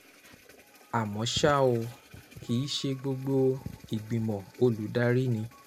Àmọ́ ṣá o, kì í ṣe gbogbo ìgbìmọ̀ olùdarí ni